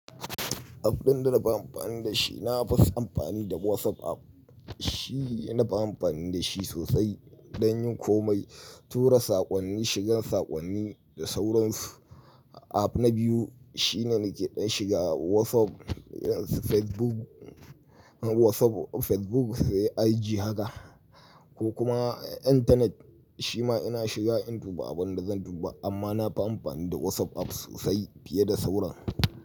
App ɗin da na fi amfani da shi, na fi amfani da WhatsApp app. Shi, na fi amfani da shi sosai, dan yin komai, tura saƙonni, shiga saƙonni da sauransu. App na biyu shine nake ɗan shiga WhatsApp, Facebook, WhatsApp, Facebook sai IG haka, ko kuma intanet shi ma ina shiga in duba abun da zan duba. Amma na fi amfani da WhatsApp app sosai fiye da sauran.